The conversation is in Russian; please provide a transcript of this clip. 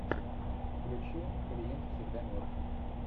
включи клиент всегда мертв